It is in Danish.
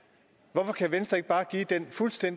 på